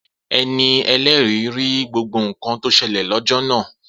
Eni ẹlẹri ri gbogbo nkan to ṣẹlẹ̀ lọ́jọ́ náà